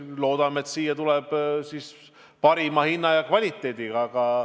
Loodame, et saame parima hinna ja kvaliteedi suhte.